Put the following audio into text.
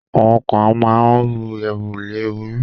àwọn kan ma ń ru ẹrù lé orí.